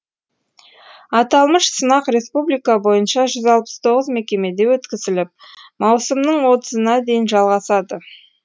аталмыш сынақ республика бойынша жүз алпыс тоғыз мекемеде өткізіліп маусымның отызына дейін жалғасады